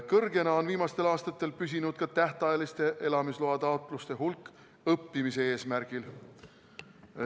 Kõrgena on viimastel aastatel püsinud ka õppimise eesmärgil antavate tähtajaliste elamislubade taotluste hulk.